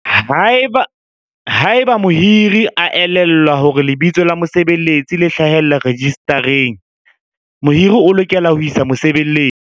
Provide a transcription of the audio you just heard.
Haeba mohiri a elellwa hore lebitso la mosebeletsi le hlahellla rejistareng, mohiri o lokela ho isa mosebeletsi.